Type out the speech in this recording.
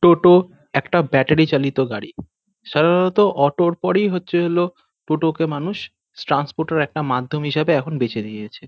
টোটো একটা ব্যাটারি চালিত গাড়ি। সারাররত অটো -র পরই হচ্ছে হল টোটো কে মানুষ স্ট্র্যান্সপোর্ট -এর একটা মাধ্যম হিসেবে এখন বেছে নিয়েছে।